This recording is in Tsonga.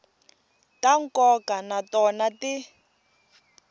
ta nkoka na tona ti